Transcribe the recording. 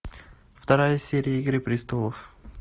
вторая серия игры престолов